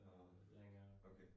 Nåh, okay